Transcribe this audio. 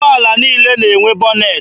Ụgbọala niile na-enwe bọnetị.